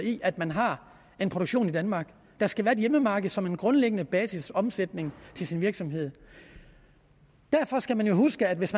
i at man har en produktion i danmark der skal være et hjemmemarked som en grundlæggende basisomsætning i virksomheden derfor skal man jo huske at hvis